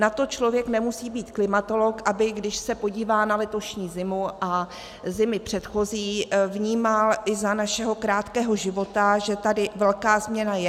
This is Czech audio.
Na to člověk nemusí být klimatolog, aby když se podívá na letošní zimu a zimy předchozí, vnímal i za našeho krátkého života, že tady velká změna je.